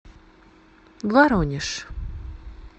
воронеж